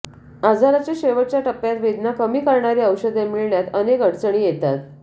आजाराच्या शेवटच्या टप्प्यात वेदना कमी करणारी औषधे मिळण्यात अनेक अडचणी येतात